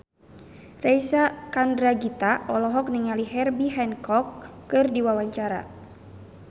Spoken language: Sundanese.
Reysa Chandragitta olohok ningali Herbie Hancock keur diwawancara